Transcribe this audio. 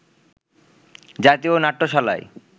জাতীয় নাট্যশালায়